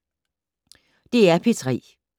DR P3